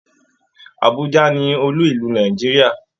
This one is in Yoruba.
Àbújá ni olú ìlú Nàìjíríà